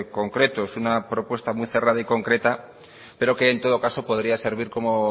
concretos una propuesta muy cerrada y concreta pero que en todo caso podría servir como